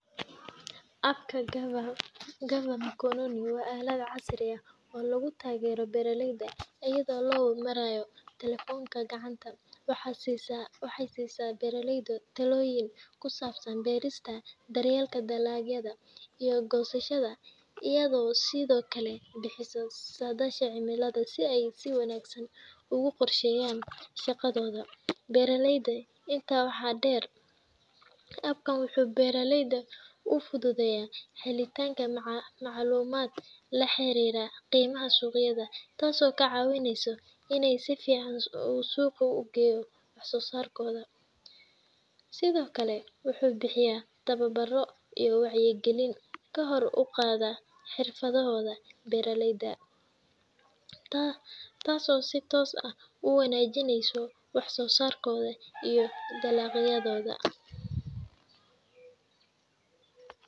App-ka GAVA Gava Mkononi waa aalad casri ah oo lagu taageero beeraleyda iyada oo loo marayo taleefanka gacanta. Waxay siisaa beeraleyda talooyin ku saabsan beerista, daryeelka dalagyada, iyo goosashada, iyadoo sidoo kale bixisa saadaasha cimilada si ay si wanaagsan ugu qorsheeyaan shaqadooda beereed. Intaa waxaa dheer, app-kan wuxuu beeraleyda u fududeeyaa helitaanka macluumaad la xiriira qiimaha suuqyada, taasoo ka caawisa inay si fiican u suuq geeyaan wax-soo-saarkooda. Sidoo kale, wuxuu bixiyaa tababaro iyo wacyigelin kor u qaadaysa xirfadaha beeraleyda, taasoo si toos ah u wanaajisa wax-soo-saarkooda iyo dhaqaalahooda.